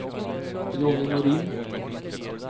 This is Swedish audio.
Johnny Norin